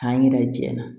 K'an ɲɛna jɛ